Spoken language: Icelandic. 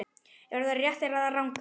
Eru þær réttar eða rangar?